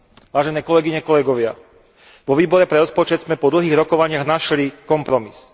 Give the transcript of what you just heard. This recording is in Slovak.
Vážené kolegyne, kolegovia, vo Výbore pre rozpočet sme po dlhých rokovaniach našli kompromis.